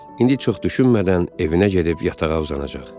İndi çox düşünmədən evinə gedib yatağa uzanacaq.